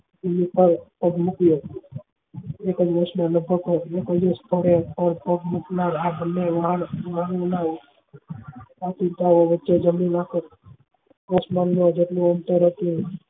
પ્રમુખ એકાદ વર્ષ માં લગભગ જેમની માફક આસમાન માં જેટલું અંતર હતું